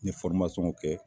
N kɛ